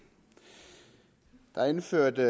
indførte